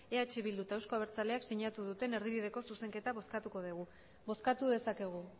eh bildu eta euzko abertzaleak sinatu duten erdibideko zuzenketa bozkatuko dugu bozkatu dezakegu